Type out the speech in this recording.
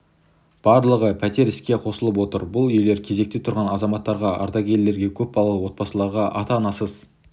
барлығы пәтер іске қосылып отыр бұл үйлер кезекте тұрған азаматтарға ардагерлерге көп балалы отбасыларға ата-анасыз